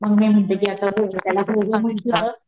मग मी म्हणते कि आता .